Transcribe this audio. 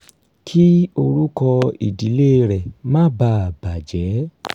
kí orúkọ ìdílé rẹ̀ má bàa bàjẹ́